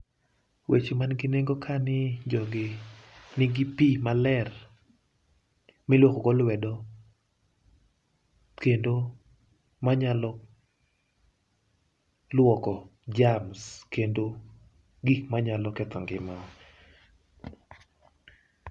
Weche man gi nengo ka ni jogi nigi pi maler miluokogo lwedo. Kendo manyalo lwoko germs kendo gik manyalo ketho ngimawa.